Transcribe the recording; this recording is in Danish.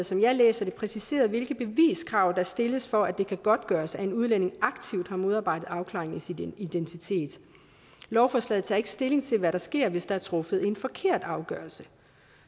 som jeg læser det præciseret hvilke beviskrav der stilles for at det kan godtgøres at en udlænding aktivt har modarbejdet afklaring af sin identitet lovforslaget tager ikke stilling til hvad der sker hvis der er truffet en forkert afgørelse